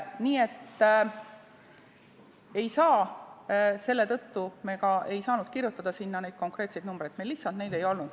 Nii et selle tõttu me ei saanud kirjutada sinna neid konkreetseid numbreid, meil lihtsalt neid ei olnud.